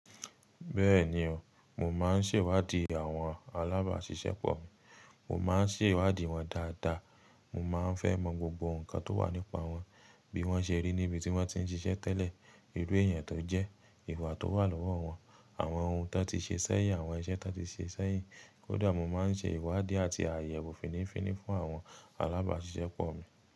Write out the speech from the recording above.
Bẹ́ẹ̀ni o, mo máa ń ṣèwádìí àwọn alábàáṣiṣẹ́ pọ̀ mi. Mo má ń ṣèwádìí wọn dáadáa. Mo má ń fẹ́ mọ gbogbo nǹkan tó wà nípa wọn bí wọ́n ṣe rí níbi tí wọ́n ti ń ṣiṣẹ́ tẹ́lẹ̀, irú èèyàn tó jẹ́, ìwà tó wà lọ́wọ́ wọn, àwọn ohun tó ti ṣe sẹ́yìn, àwọn iṣẹ́ tó ti ṣe sẹ́yìn. Kódà mo má ń ṣe ìwádìí àti àyẹ̀wò fininfíni fún àwọn alábàáṣiṣẹ́ pọ̀ mi.